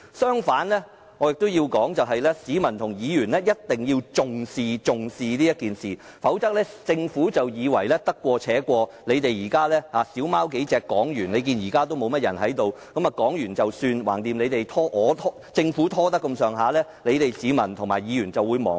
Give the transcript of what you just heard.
相反，我認為市民和議員一定要重視今次事件，否則政府會以為可以得過且過，而且會議廳內現在也沒多少議員，讓三數議員發言過後便可了事，反正只要有心拖延，市民和議員日後定會忘記。